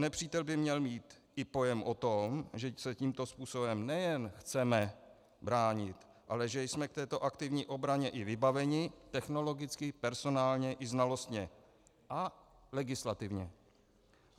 Nepřítel by měl mít i pojem o tom, že se tímto způsobem nejen chceme bránit, ale že jsme k této aktivní obraně i vybaveni technologicky, personálně i znalostně a legislativně.